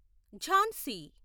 Jhansi